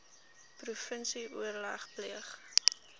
provinsie oorleg pleeg